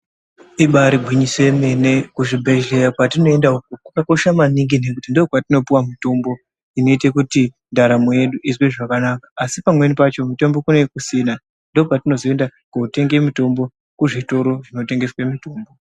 Ibaari gwinyiso remene kuzvibhedhlera kwatinoenda uko kwakakosha maningi nekuti ndokwatinopuwa mitombo inoite kuti ndaramo yedu izwe zvakanaka asi pamweni pacho mitombo kunenge kusina ndopatinozoenda kootenga mitombo kuzvitoro zvinotengeswa mitombo.